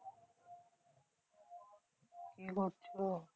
কি করছো?